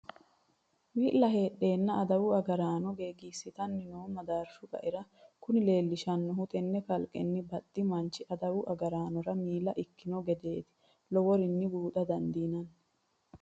Wi'la heedhenna adawu agaraano gegisittanni no madarshu qaera, kuni leellishanohu tene kalqenni baxxi manchi adawu agaranora miilla ikkino gedeti loworinni buuxa dandiinanni.